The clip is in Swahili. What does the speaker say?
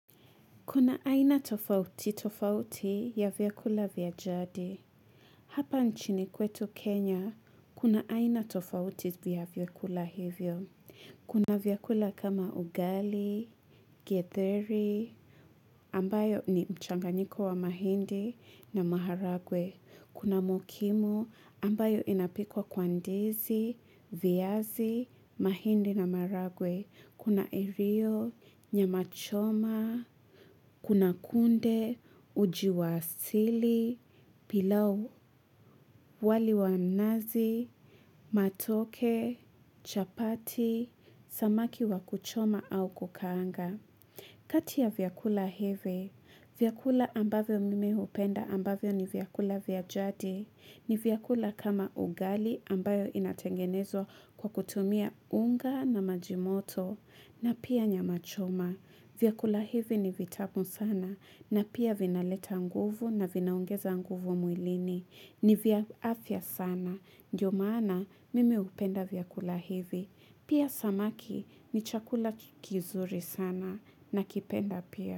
Kuna aina tofauti tofauti ya vyakula vyajadi. Hapa nchini kwetu kenya kuna aina tofauti za vyakula hivyo kuna vyakula kama ugali getheri ambayo ni mchanganyiko wa mahindi na maharagwe kuna mokimo ambayo inapikwa kwa ndizi viazi mahindi na maharagwe. Kuna erio, nyamachoma, kuna kunde, ujiwasili, pilau wali wanazi, matoke, chapati, samaki wakuchoma au kukaanga. Kati ya vyakula hivi vyakula ambavyo mimi hupenda ambavyo ni vyakula vya jadi. Ni vyakula kama ugali ambayo inatengenezwa kwa kutumia unga na maji moto. Na pia nyama choma. Vyakula hivi ni vitamu sana. Na pia vinaleta nguvu na vinaongeza nguvu mwilini. Ni vya afya sana. Ndiyo maana mimi hupenda vyakula hivi. Pia samaki ni chakula kizuri sana nakipenda pia.